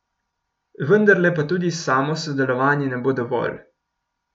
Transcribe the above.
Vendarle pa tudi samo sodelovanje ne bo dovolj.